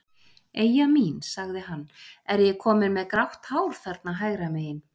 Eyja mín, sagði hann, er ég kominn með grátt hár þarna hægra megin?